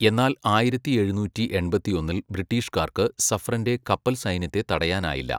എന്നാൽ ആയിരത്തി എഴുനൂറ്റി എൺപത്തിയൊന്നിൽ ബ്രിട്ടീഷുകാർക്ക് സഫ്രൻന്റെ കപ്പൽസൈന്യത്തെ തടയാനായില്ല.